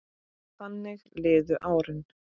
Þannig liðu árin.